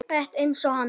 Rétt eins og hann.